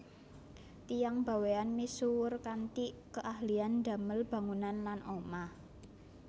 Tiyang Bawean misuwur kanthi keahlian damel bangunan lan omah